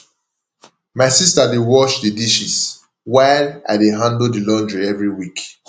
my sister dey wash the dishes while i dey handle the laundry every week